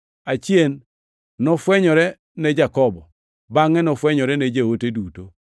Achien nofwenyore ne Jakobo; bangʼe nofwenyore ne joote duto,